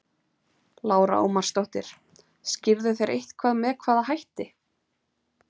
Lára Ómarsdóttir: Skýrðu þeir eitthvað með hvaða hætti?